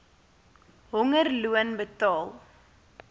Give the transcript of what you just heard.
honger loon betaal